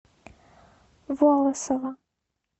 волосово